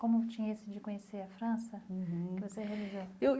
como tinha esse de conhecer a França uhum que você realizou? eu